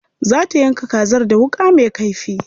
Za ta yanka kazar da wuƙa me kaifi.